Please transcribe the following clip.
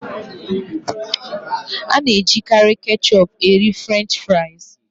A na-ejikarị ketchup ere Frenchị fries.